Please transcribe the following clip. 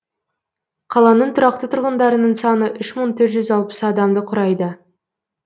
қаланың тұрақты тұрғындарының саны үш мың төрт жүз алпыс адамды құрайды